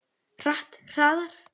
Hratt, hraðar.